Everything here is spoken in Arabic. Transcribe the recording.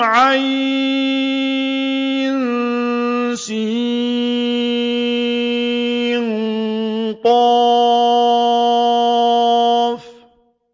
عسق